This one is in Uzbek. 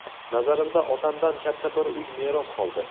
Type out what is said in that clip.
Nazarimda, otamdan katta bir uy meros qoldi.